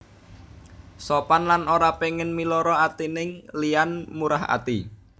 Sopan lan ora pengin miloro atining liyan murah ati